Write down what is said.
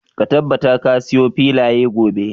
Ka tabbata ka siyo filaya gobe.